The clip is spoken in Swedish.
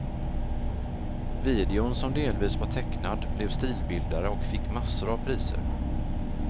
Videon som delvis var tecknad blev stilbildare och fick massor av priser.